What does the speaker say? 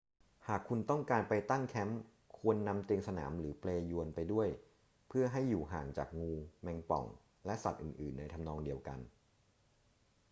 หากคุณต้องการไปตั้งแคมป์ ควรนำเตียงสนามหรือเปลญวนไปด้วยเพื่อให้อยู่ห่างจากงู แมงป่อง และสัตว์อื่น ๆ ในทำนองเดียวกัน